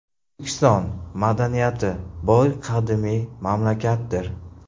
O‘zbekiston – madaniyati boy qadimiy mamlakatdir.